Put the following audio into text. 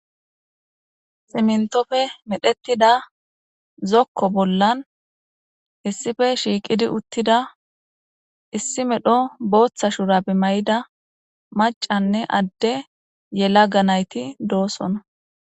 Simintppe medhettida zokko bollan hissife shiiqidi uttida issi medho booththa shurabi may'ida macanne adde yelaga nayti doosona.